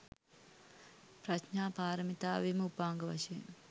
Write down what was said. ප්‍රඥා පාරමිතාවේම උපාංග වශයෙන්